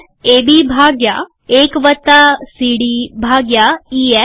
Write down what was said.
એબી ભાગ્યા ૧ સીડી ભાગ્યા ઈએફ